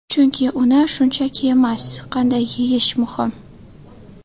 Chunki uni shunchaki emas, qanday yeyish muhim.